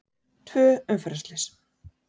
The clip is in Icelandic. Tvö umferðarslys